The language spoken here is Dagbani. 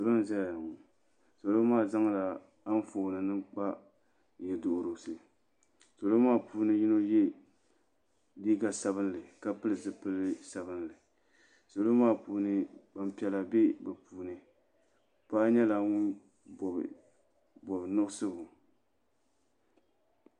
Salo n zaya ŋɔ salo maa zaŋla anfooni nima n kpa yiɛduhirisi salo maa puuni so ye liiga sabinli ka pili zupili sabinli salo maa puuni gbaŋ piɛlla bɛ bi puuni paɣa nyɛla ŋuni bɔbi bɔbi nuɣiso.